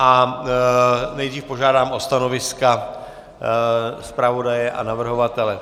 A nejdříve požádám o stanoviska zpravodaje a navrhovatele.